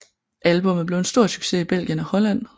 Albummet blev en stor succes i Belgien og Holland